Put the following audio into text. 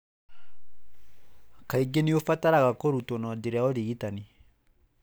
Kaingĩ nĩ ũbataraga kũrutwo na njĩra ya ũrigitani.